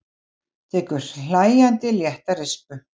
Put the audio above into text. Tekur hlæjandi létta rispu.